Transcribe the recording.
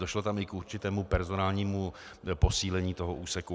Došlo tam i k určitému personálnímu posílení toho úseku.